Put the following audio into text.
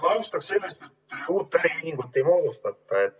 Ma alustan sellest, et uut äriühingut ei moodustata.